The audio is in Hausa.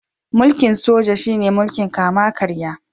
Mulkin Soja shi ne mulkin kama karya.